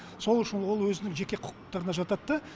сол үшін ол өзінің жеке құқықтарына жатады да